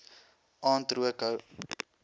aand rook hou